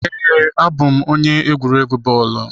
Ee, abụ m onye egwuregwu bọọlụ.